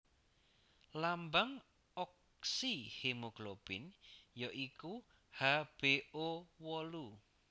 Lambang oksihemoglobin ya iku HbO wolu